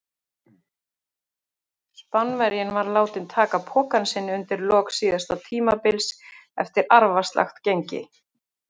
Spánverjinn var látinn taka pokann sinn undir lok síðasta tímabils eftir arfaslakt gengi.